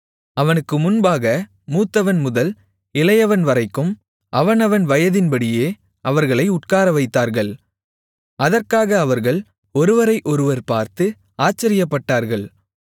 அவனுக்கு முன்பாக மூத்தவன்முதல் இளையவன்வரைக்கும் அவனவன் வயதின்படியே அவர்களை உட்காரவைத்தார்கள் அதற்காக அவர்கள் ஒருவரை ஒருவர் பார்த்து ஆச்சரியப்பட்டார்கள்